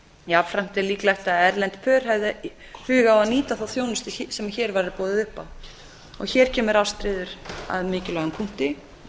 jafnframt er líklegt að erlend pör hefðu hug á að nýta þá þjónustu sem hér væri boðið upp á hér kemur ástríður að mikilvægum punkti